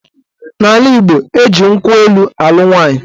N'ala Igbo, eji nkwụ elu alụ nwaanyị